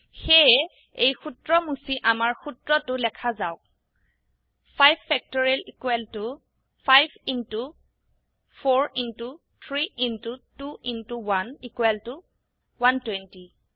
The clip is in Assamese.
সেয়ে এই সূত্ৰ মুছি আমাৰ সুত্ৰ টো লেখা যাওক 5 factorial 5 into 4 into 3 into 2 into 1 120